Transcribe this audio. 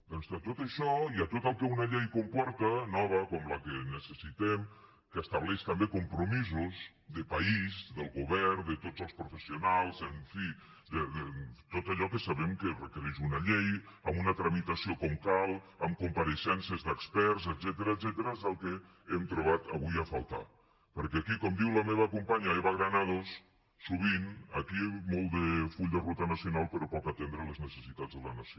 doncs tot això i tot el que una llei comporta nova com la que necessitem que estableix també compromisos de país del govern de tots els professionals en fi de tot allò que sabem que requereix una llei amb una tramitació com cal amb compareixences d’experts etcètera és el que hem trobat avui a faltar perquè aquí com diu la meva companya eva granados sovint aquí molt de full de ruta nacional però poc atendre les necessitats de la nació